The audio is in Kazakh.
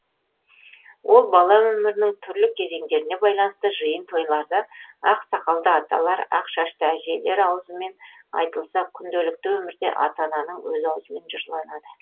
ол бала өмірінің түрлі кезеңдеріне байланысты жиын тойларда ақ сақалды аталар ақ шашты әжелер аузымен айтылса күнделікті өмірде ата ананың өз аузымен жырланады